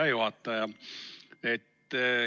Hea juhataja!